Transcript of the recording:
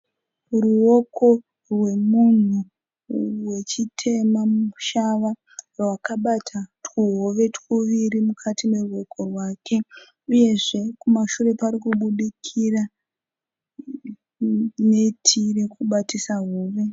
Ruoko rwemunhu wechitema mushava. Rwakabata tuhove tuviri mukati meruoko rwake. Uyezve kumashure parikubudikira neti rekubatisa hove.